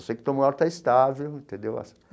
Só sei que o Tom Maior está estável, entendeu?